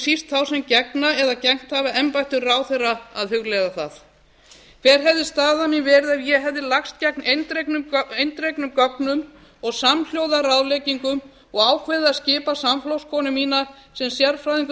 síst þá sem gegna eða gegnt hafa embættum ráðherra að hugleiða það hver hefði staða mín verið ef ég hefði lagst gegn eindregnum gögnum og samhljóða ráðleggingum og ákveðið að skipa samflokkskonu mína sem sérfræðingur